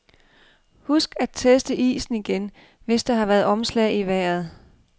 Husk at teste isen igen, hvis der har været omslag i vejret.